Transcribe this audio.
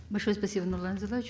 большое спасибо нурлан зайроллаевич